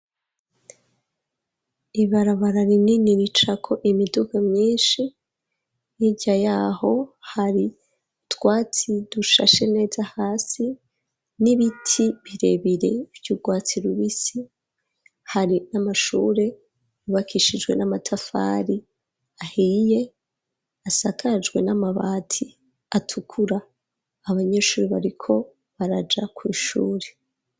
Ibarabara rinini ricako imidugu myinshi hirya yaho hari utwatsi dushashe neza hasi n'ibiti birebire vy'urwatsi rubisi hari n'amashure yubakishijwe n'amatafari ahiye asakajwe n'amabati atukura abanyeshure bariko baraja kw'ishure.